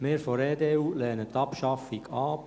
Wir von der EDU lehnen die Abschaffung ab.